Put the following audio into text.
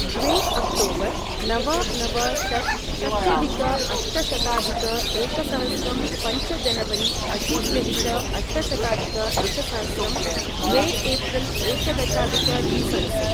द्वे अक्टोबर् नव नव शश् षष्ट्यधिक अष्टशताधिक एकसहस्रं पञ्च जानवरी अशीत्यधिक अष्टशताधिक एकसहस्रं द्वे एप्रील एकादशाधिक द्विसहस्रम्